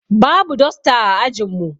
Babu dosta ã ajin mu.